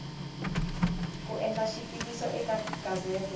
ku endla xitiviso eka gazete